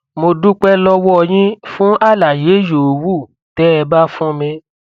mo dúpẹ lọwọ yín fún àlàyé yòówù tẹ ẹ bá fún mi